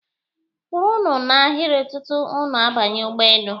kwụrụnụ n'ahịrị tutu unu banye ụgbọelu!